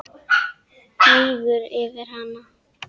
Mígur yfir hana.